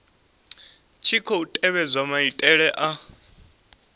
tshi khou tevhedzwa maitele a